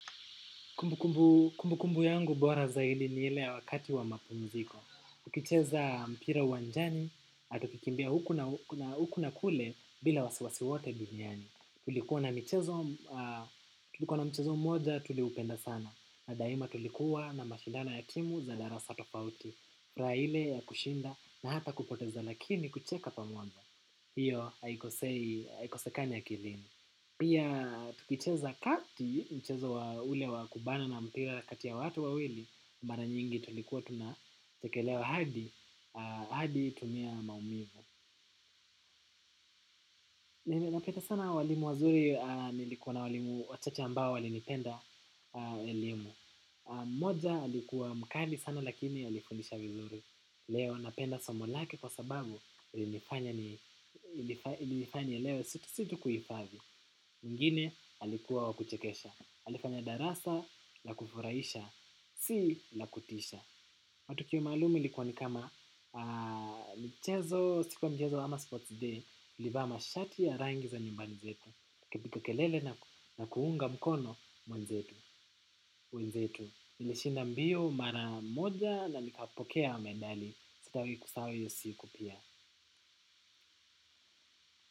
Kumbu kumbu yangu bora zaidi ni ile ya wakati wa mapumziko. Tukicheza mpira uwanjani, na tukikimbia huku na huku na kule bila wasiwasi wote duniani. Tulikuwa na mchezo moja, tulipenda sana. Na daima tulikuwa na mashindano ya timu za darasa tofauti. Raha ile ya kushinda na hata kupoteza lakini kucheka pamoja. Hiyo, haikosekani akilini. Pia tukicheza kati mchezo wa ule wa kubana na mpira kati ya watu wawili. Mara nyingi tulikuwa tunachekelewa hadi hadi tumia maumivu. Napenda sana walimu wazuri nilikuwa na walimu wachache ambao walinipenda elimu. Mmoja alikuwa mkali sana lakini alifundisha vizuri. Leo napenda somo lake kwa sababu ilinifanya nielewe si tu kuifanya. Mwingine alikuwa wa kuchekesha alifanya darasa, la kufurahisha, si la kutisha matokeo maalumu ilikuwa ni kama michezo, siku ya mchezo ama sports day tulivaa mashati ya rangi za nyumbani zetu. Kupiga kelele na kuunga mkono mwenzetu, mwenzetu. Nilishinda mbio mara moja na nikapokea medali, sitawahi kusahau hiyo siku pia.